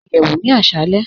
Nú ìyẹwù ní àṣàlẹ̀.